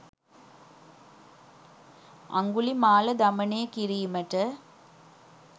අංගුලිමාල දමනය කිරීමට